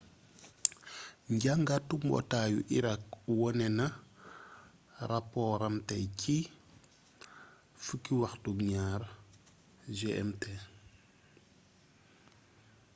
njàngatu mbootaayu irak wone na rapooram tay ci ci 12:00 gmt